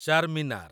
Charminar